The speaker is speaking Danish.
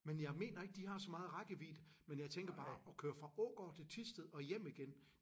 Men jeg mener ikke de har så meget rækkevidde men jeg tænker bare at køre fra Ågård til Thisted og hjem igen